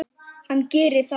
Hann gerir það.